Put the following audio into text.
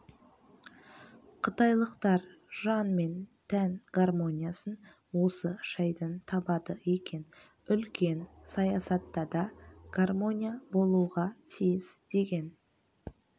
қытайлықтар жан мен тән гармониясын осы шайдан табады екен үлкен саясатта да гармония болуға тиіс деген